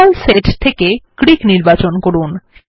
symbol set থেকে Greek নির্বাচন করুন